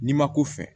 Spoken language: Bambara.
N'i ma ko fɛ